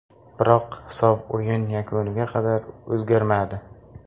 Biroq hisob o‘yin yakuniga qadar o‘zgarmadi.